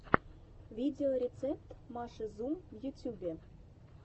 видеорецепт маши зум в ютюбе